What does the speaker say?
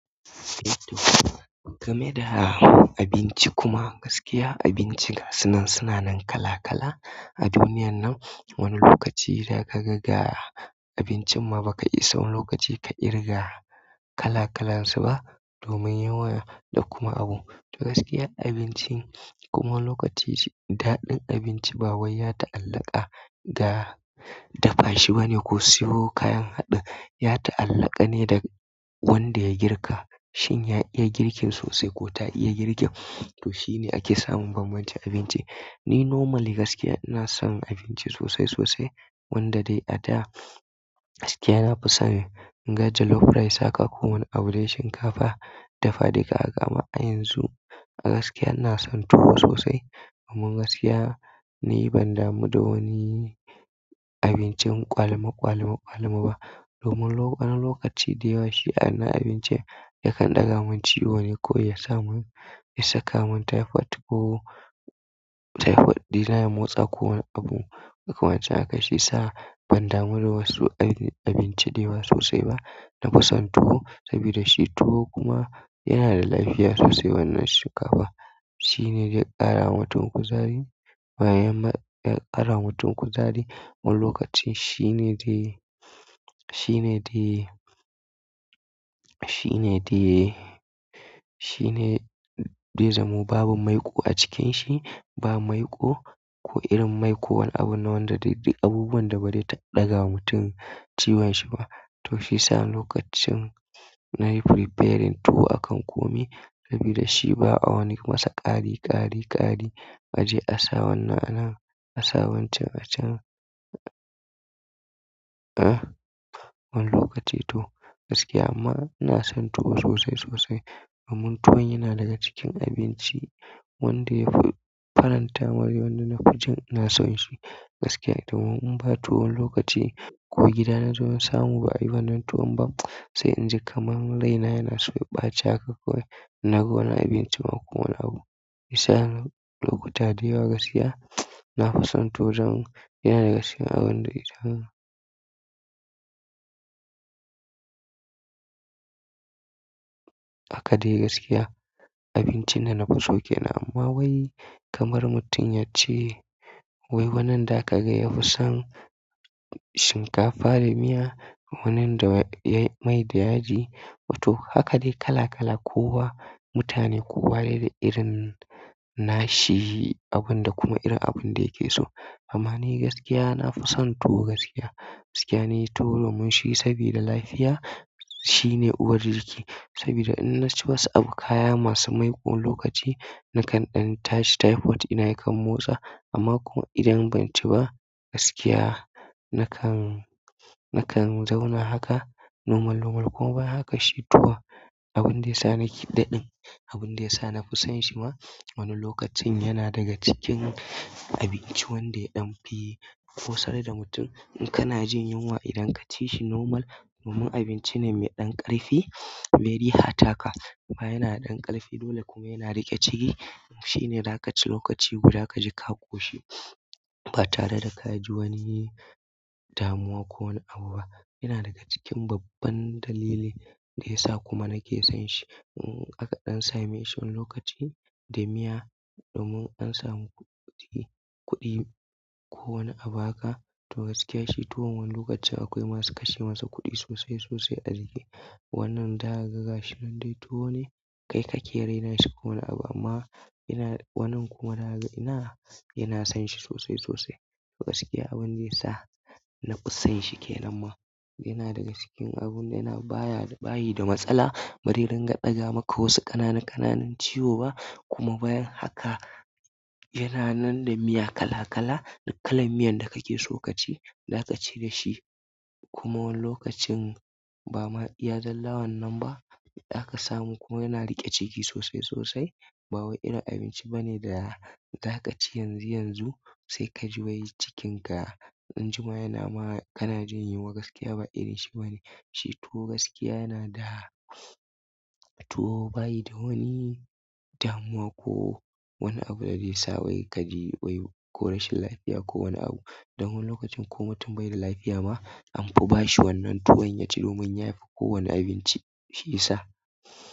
Eh to, game da abinci kuma gaskiya abinci gasunan suna nan kala kala a duniyan nan. Wani lokaci da zaka ga abincin ma ba ka iya samun lokaci ka ƙirga kala kalansu ba domin yawa da kuma abu. Da gaskiya abinci kuma lokaci daɗin abinci ba wai ya ta'allaka da dafashi bane ko siyo kayan haɗi. Ya ta'allaka ne da wanda ya girka. Shin ya iya girkin sosai ko ta iya girkin? To shine ake samun banbancin abinci. Ni normal gaskiya ina son abinci sosai sosai wanda dai a da gaskiya na fi son ganja loaf rice aka ko wani abu dai shinkafa dafa daga kama a yanzu. A gaskiya ina son tuwo sosai kuma gaskiya ni ban damu da wani abincin kwali me kwali me kwali me ba domin wani lokaci da yawa shi ana abinci ya kan ɗaga mun ciwo ne ko ya sa mun ya saka mun typhoid ko typhoid dina yi motsa ko wani abu. Ko kuma ace haka shi sa ban damu da wasu abinci da yawa sosai ba. Na fi son tuwo saboda shi tuwo kuma yana da lafiya sosai wannan shinkafa. Shine zai ƙarawa mutu kuzari bayanya ƙarawa mutu kuzari wani lokaci shine dai, shine dai, shine dai, shine dai zamo babu maiko a cikin shi ba. Mai ko ko irin mai ko wani abu ne duk wani abu da ba zai ɗagawa mutum ciwon shi ba to shi sa lokacin nayi preparing tuwo akan kome saboda shi ba a wani masa ƙari ƙari ƙari a je a sa wannan a nan a sa wancan a can. Wani lokaci to gaskiya amma ina son tuwo sosai sosai kuma tuwo yana daga cikin abinci wanda ya faranta wani lokacin ina son shi gaskiya. Domin in ba tuwo wani lokaci ko gida na zo in samu ba ai wannan tuwon ba sai in ji kamam rai na yana so ya ɓace haka kawai. Na ga wani abinci ma ko wani abu. Ya sa lokuta da yawa gaskiya na fi son tuwo waje. Yana da gaskiya abun da ita haka. Haka dai gaskiya abincin da nafiso kenan amma wai kamar mutum yace wai wani zakaga yafi son shinkafa da miya ko mai da yaji to haka dai kala kala kowa mutane kowa dai da irin nashi abun da kuma irin abun da yake so. Amma ni gaskiya na fi son tuwo gaskiya. Gaskiya ni tuwo domin shi sabida lafiya shine uwar jiki saboda in na ci wasu abu kaya masu maiko wani lokaci na kan ɗan tashi typhoid dina ya kan motsa amma kuma idan ban ci ba gaskiya na kan, na kan zauna haka normal normal kuma bayan haka shi tuwo abun da ya sa nake daɗin abun da ya sa na fi son shi ma wani lokacin yana daga cikin abinci wanda ɗan fi busar da mutum in kana jin yunwa idan ka ci shi normal domin abinci ne mai ɗan ƙarfi mai riha taka kuma yana da dan ƙarfi kuma yana riƙe ciki. Shi ne da aka ci lokaci guda ka ji ka ƙoshi ba tare da ka ji wani damuwa ko wani abu ba. Yana daga cikin babban dalili da ya sa kuma nake son shi. Hakka ɗan sa me shi wani lokaci da miya domin an samu kuɗi, kuɗi ko wani abu haka to gaskiya shi tuwon wani lokacin akwai masu kashe masa kuɗi sosai sosai a ciki. Wannan za kaga ga shi nan dai tuwo ne kai ka ke raina shi ko wani abu amma yana wannan kuma na yana son shi sosai sosai. Gaskiya abun da ya sa na fi son shi ke nan ma yana daga cikin abun da yana baya bayi da matsala bari rin ga ɗaga maka wasu ƙananan ƙananan ciwo ba kuma bayan haka yana nan da miya kala kala. Duk kalan miyan da kake so ka ci za ka ci da shi kuma wani lokacin ba ma ya lalawa nan ba da aka samu kuma yana riƙe ciki sosai sosai. Ba wai irin abinci bane da za ka ci yanzu yanzu sai ka ji wai cikinka an jima yana ma kana jin yunwa gaskiya ba irin shi bane. Shi tuwo gaskiya yana da tuwo bayi da wani damuwa ko wani abu da zai sa wai ka ji wai ko rashin lafiya ko wani abu. Dan wani lokacin ko mutum bai da lafiya ma an fa ba shi wannan tuwon ya ci domin ya fi kowane abinci shiyasa.